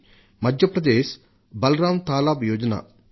మధ్య ప్రదేశ్ బలరాం తాలాబ్ యోజనను అనుసరించింది